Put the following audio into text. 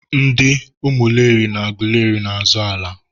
ndị Umuleri na Agụleri na-azọ ala.